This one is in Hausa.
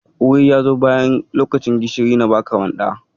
Wuri ya zo bayan lokacin ban gishiri na baka manda.